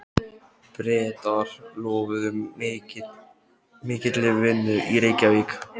Bretar lofuðu mikilli vinnu í Reykjavík.